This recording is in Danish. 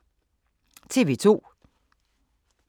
TV 2